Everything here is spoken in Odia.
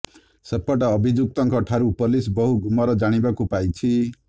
ସେପଟେ ଅଭିଯୁକ୍ତଙ୍କ ଠାରୁ ପୋଲିସ ବହୁ ଗୁମର ଜାଣିବାକୁ ପାଇଛି